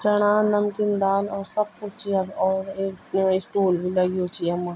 चणा नमकीन दाल और सब कुछ च यख और एक स्टूल भी लग्युं च यमा।